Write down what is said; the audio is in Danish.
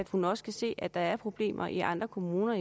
hun også kan se at der er problemer i andre kommuner